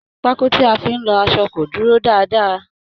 Pákó tí a fi ń lọ aṣọ kò dúró dáadáa.